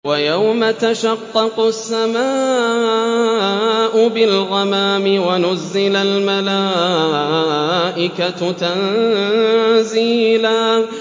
وَيَوْمَ تَشَقَّقُ السَّمَاءُ بِالْغَمَامِ وَنُزِّلَ الْمَلَائِكَةُ تَنزِيلًا